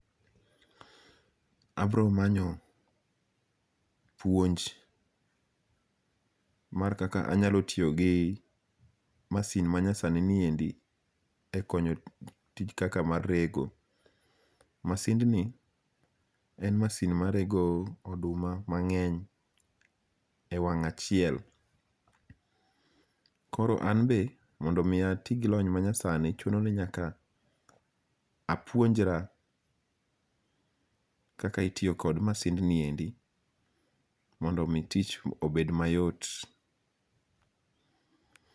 Abromanyo puonj, mar kaka anyalo tiyogi masin manyasaniniendi e konyo e tich kaka mar rego, masindni en masin marego oduma mange'ny e wang' achiel, koro an be mondo mi ati gi lony manyasani chunoni nyaka apuonjra kaka itiyo kod masindniendi mondo mi tich obed mayot.